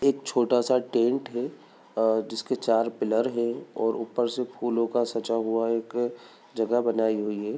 एक छोटा सा टेंट है अ जिसके चार पिल्लर हैं ओर ऊपर से फूलों का सजा हुआ एक जगह बनाई हुई है।